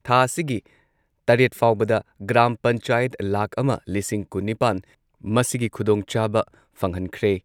ꯊꯥ ꯑꯁꯤꯒꯤ ꯇꯔꯦꯠ ꯐꯥꯎꯕꯗ ꯒ꯭ꯔꯥꯝ ꯄꯟꯆꯥꯌꯠ ꯂꯥꯈ ꯑꯃ ꯂꯤꯁꯤꯡ ꯀꯨꯟꯅꯤꯄꯥꯟ ꯃꯁꯤꯒꯤ ꯈꯨꯗꯣꯡꯆꯥꯕ ꯐꯪꯍꯟꯈ꯭ꯔꯦ꯫